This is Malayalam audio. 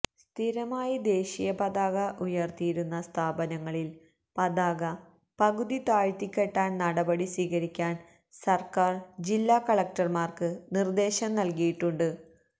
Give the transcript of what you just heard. സ്ഥിരമായി ദേശീയപതാക ഉയര്ത്തിയിരിക്കുന്ന സ്ഥാപനങ്ങളില് പതാക പകുതി താഴ്ത്തിക്കെട്ടാന് നടപടി സ്വീകരിക്കാന് സര്ക്കാര് ജില്ലാ കളക്ടര്മാര്ക്ക് നിര്ദ്ദേശം നല്കിയിട്ടുണ്ട്